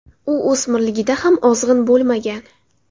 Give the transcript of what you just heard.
U o‘smirligida ham ozg‘in bo‘lmagan.